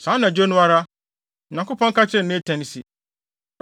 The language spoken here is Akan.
Saa anadwo no ara, Onyankopɔn ka kyerɛɛ Natan se,